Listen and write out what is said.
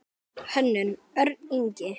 Hönnun: Örn Ingi.